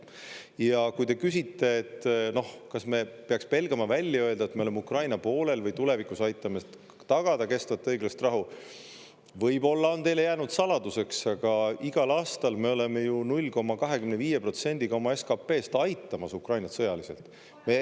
Ja kui te küsite, kas me peaks pelgama välja öelda, et me oleme Ukraina poolel, või tulevikus aitama tagada kestvat õiglast rahu, siis võib-olla on teile jäänud saladuseks, aga igal aastal me oleme ju 0,25%-ga oma SKP-st aitamas Ukrainat sõjaliselt.